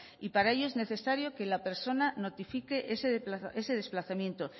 y para ello es necesario que la persona notifique ese desplazamiento